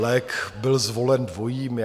Lék byl zvolen dvojí.